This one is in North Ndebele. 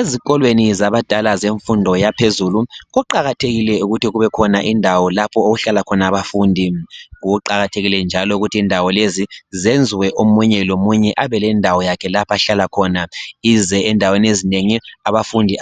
Ezikolweni zabadala zemfundo yaphezulu kuqakathekile ukuthi kube khona indawo lapho okuhlala khona abafundi . Kuqakathekile njalo ukuthi indawo lezi zenziwe omunye lomunye abelendawo yakhe lapha ahlala khona ize endaweni ezinengi. Abafundi